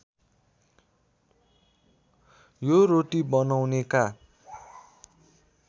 यो रोटी बनाउनेका